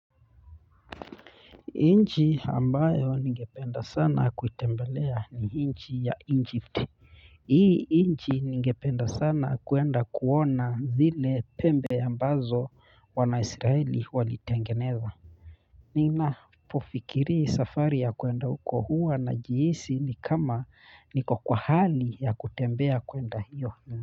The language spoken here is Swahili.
Nchi ambayo ningependa sana kuitembelea ni inchi ya Egypt. Hii nchi ningependa sana kwenda kuona zile pembe ambazo wana Israeli walitengeneza nina pofikiri safari ya kwenda huko hua na jihisi ni kama niko kwa hali ya kutembea kwenda hiyo.